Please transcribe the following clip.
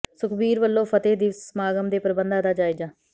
ਸੁਖਬੀਰ ਵੱਲੋਂ ਫਤਹਿ ਦਿਵਸ ਸਮਾਗਮ ਦੇ ਪ੍ਰਬੰਧਾਂ ਦਾ ਜਾਇਜ਼ਾ